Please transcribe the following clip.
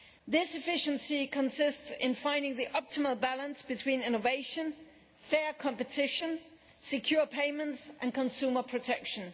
This efficiency consists of finding the optimal balance between innovation, fair competition, secure payments and consumer protection.